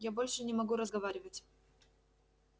я больше не могу разговаривать